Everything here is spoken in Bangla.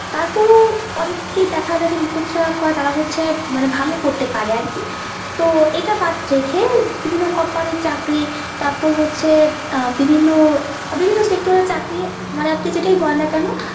তারপরো অনেককেই দেখা যায় যে মুখস্ত যারা করে তারা হচ্ছে মানে ভালো করতে পারে আরকি তো এটা বাদ রেখে বিভিন্ন company এর চাকরি তারপর হচ্ছে আহ বিভিন্ন বিভিন্ন sector এর চাকরি মানে আপনি যেটাই বলেন না কেন।